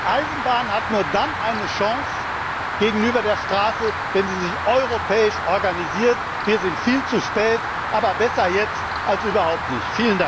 treffen. Die Eisenbahn hat nur dann eine Chance gegenüber der Straße, wenn sie sich europäisch organisiert. Wir sind viel zu spät, aber besser jetzt als überhaupt nicht!